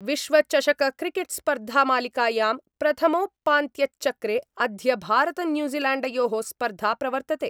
विश्वचषकक्रिकेटस्पर्धामालिकायाम् प्रथमोपान्त्यचक्रे अद्य भारतन्यूजीलैण्डयो: स्पर्धा प्रवर्तते।